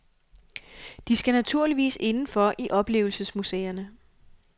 De skal naturligvis inden for i oplevelsesmuseerne.